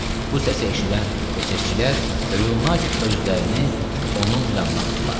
Bu səsi eşidən SS-çilər hövül-hövül özlərini onun yanına atdılar.